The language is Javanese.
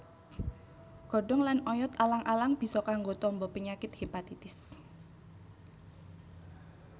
Godhong lan oyot alang alang bisa kanggo tamba penyakit hépatitis